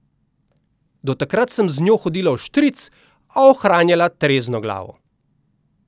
Do takrat sem z njo hodila vštric, a ohranjala trezno glavo.